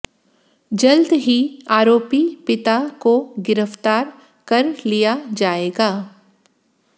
जल्द ही आरोपी पिता को गिरफ्तार कर लिया जाएगा